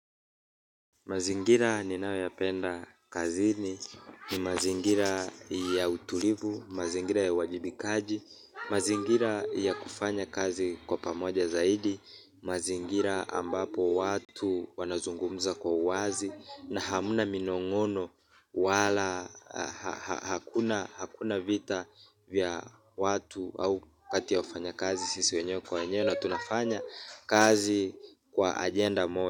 Mazingira ninayoyapenda kazini, ni mazingira ya utulivu, mazingira ya uwajibikaji, mazingira ya kufanya kazi kwa pamoja zaidi, mazingira ambapo watu wanazungumza kwa uwazi na hamuna minong'ono wala hakuna vita vya watu au kati ya wafanyakazi sisi wenyewe kwa wenyewe na tunafanya kazi kwa agenda moja.